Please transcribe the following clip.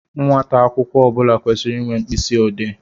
Nwata akwụkwọ ọbula kwesiri ịnwe mkpịsị odee.